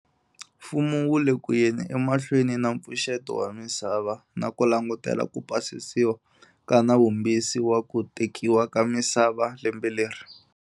Mfumo wu le ku yeni emahlweni na mpfuxeto wa misava na ku langutela ku pasisiwa ka Nawumbisi wa ku Tekiwa ka Misava lembe leri.